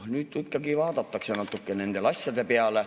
Nüüd ikkagi vaadatakse natukene nende asjade peale.